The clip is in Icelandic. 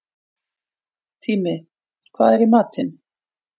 Tími, hvað er í matinn?